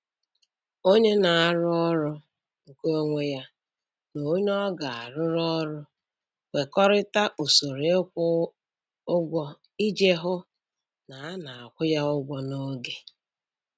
Onye na-arụ ọrụ nke onwe ya na onye ọ ga-arụrụ ọrụ kwekọrịta usoro ịkwụ ụgwọ iji hụ na a na-akwụ ya ụgwọ n’oge.